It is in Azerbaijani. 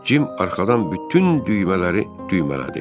Cim arxadan bütün düymələri düymələdi.